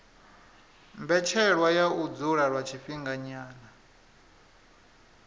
mbetshelwa ya u dzula lwa tshifhinganyana